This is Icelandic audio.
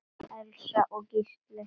Elsa og Gísli.